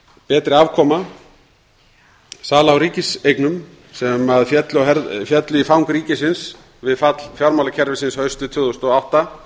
betri afkoma sala á ríkiseignum sem féllu í fang ríkisins við fall fjármálakerfisins haustið tvö þúsund og átta